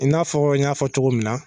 I n'a fɔra n y'a fɔ cogo min na.